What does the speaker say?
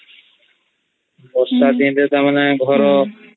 ବର୍ଷା ଦିନ ତା ମାନେ ଘର